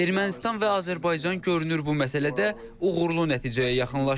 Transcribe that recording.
Ermənistan və Azərbaycan görünür bu məsələdə uğurlu nəticəyə yaxınlaşır.